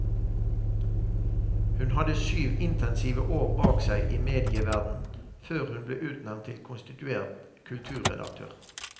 Hun hadde syv intensive år bak seg i medieverdenen før hun ble utnevnt til konstituert kulturredaktør.